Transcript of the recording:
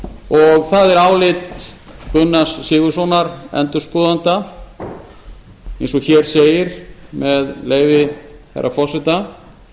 og það er álit gunnars sigurðssonar endurskoðanda eins og hér segir með leyfi herra forseta það